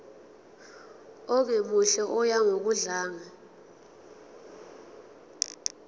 ongemuhle oya ngokudlanga